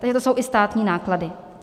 Ony to jsou i státní náklady.